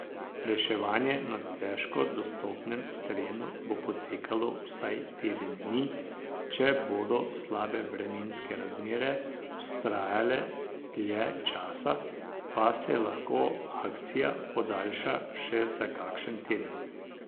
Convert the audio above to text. Reševanje na težko dostopnem terenu bo potekalo vsaj teden dni, če bodo slabe vremenske razmere vztrajale dlje časa, pa se lahko akcija podaljša še za kakšen teden.